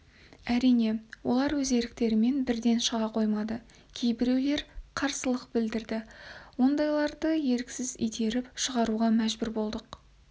әрине олар өз еріктерімен бірден шыға қоймады кейбіреулер қарсылық білдірді ондайларды еріксіз итеріп шығаруға мәжбүр болдық